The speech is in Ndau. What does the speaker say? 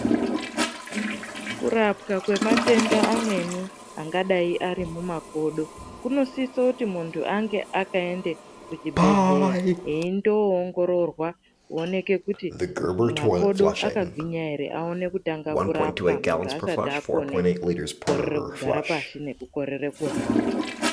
Kurapwa kwematenda amweni angadai ari mumakodo kunosiso kuti muntu ange akaende kuchibhedhleya. Eindoongororwa kuonekwe kuti makodo akagwinya ere. Aone kutanga kurapwa muntu asati akone kukorere kugara pashi nekukone kuhamba.